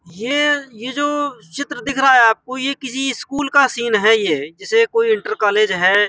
य ये जो चित्र दिख रहा है आपको ये किसी स्कूल का सीन है ये जैसे कोई इंटर कॉलेज हैे।